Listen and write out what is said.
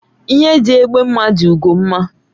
Ihe dị egbe mma dị ugo mma